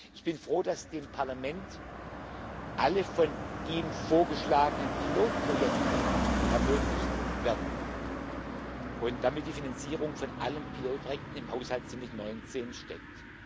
Ich bin froh, dass dem Parlament alle von ihm vorgeschlagenen Pilotprojekte ermöglicht werden und damit die Finanzierung von allen Pilotprojekten im Haushalt 2019 steckt.